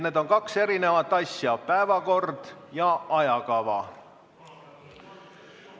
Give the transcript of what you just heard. Need on kaks erinevat asja – päevakord ja ajakava.